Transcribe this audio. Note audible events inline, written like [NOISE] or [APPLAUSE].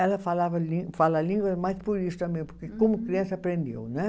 Ela falava [UNINTELLIGIBLE] fala a língua, mas por isso também, porque como criança aprendeu, né?